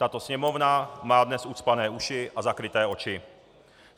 Tato Sněmovna má dnes ucpané uši a zakryté oči.